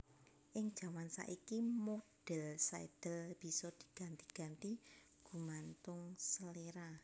Ing jaman saiki modhèl sadhel bisa diganti ganti gumantung seléra